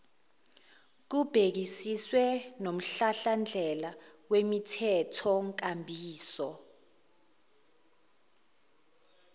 kubhekisiswe nomhlahlandlela wemithethonkambiso